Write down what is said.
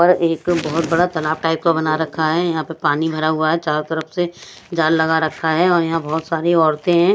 और एक बहोत बड़ा तलाब टाइप का बना रखा है यहां पे पानी भरा हुआ है चारों तरफ से जाल लगा रखा है और यहां बहोत सारी औरते है।